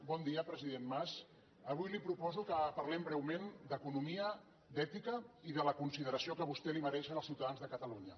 bon dia president mas avui li proposo que parlem breument d’economia d’ètica i de la consideració que a vostè li mereixen els ciutadans de catalunya